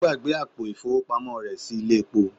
Ó gbàgbé àpò ìfowópamọ́ rẹ̀ sí ilé epo